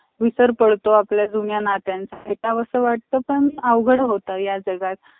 त तो साठ रुपयाला bulb आणतोय आणि शंभर रुपयाला विकतोय. म्हणजे साठ सहा अन चार म्हणजे चाळीस रुपये नाफा त देऊ शचीन. वीस तरी bulb विकले.